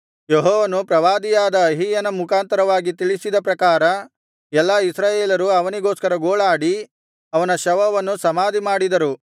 ಯೆಹೋವನು ಪ್ರವಾದಿಯಾದ ಅಹೀಯನ ಮುಖಾಂತರವಾಗಿ ತಿಳಿಸಿದ ಪ್ರಕಾರ ಎಲ್ಲಾ ಇಸ್ರಾಯೇಲರು ಅವನಿಗೋಸ್ಕರ ಗೋಳಾಡಿ ಅವನ ಶವವನ್ನು ಸಮಾಧಿಮಾಡಿದರು